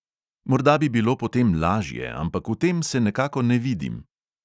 Morda bi bilo potem lažje, ampak v tem se nekako ne vidim.